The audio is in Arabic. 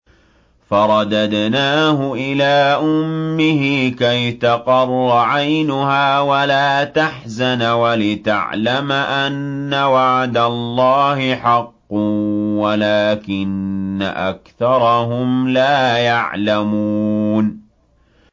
فَرَدَدْنَاهُ إِلَىٰ أُمِّهِ كَيْ تَقَرَّ عَيْنُهَا وَلَا تَحْزَنَ وَلِتَعْلَمَ أَنَّ وَعْدَ اللَّهِ حَقٌّ وَلَٰكِنَّ أَكْثَرَهُمْ لَا يَعْلَمُونَ